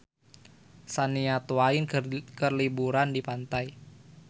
Shania Twain keur liburan di pantai